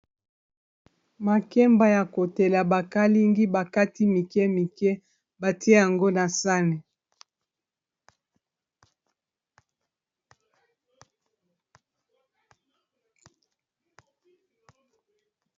Makemba ya kotela ba kalingi bakati mike mike batie yango na sani.